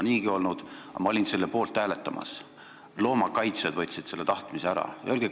Aga ma olin valmis selle poolt hääletama, kuid loomakaitsjad võtsid selle tahtmise ära.